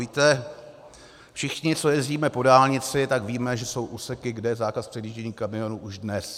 Víte, všichni, co jezdíme po dálnici, tak víme, že jsou úseky, kde je zákaz předjíždění kamionů už dnes.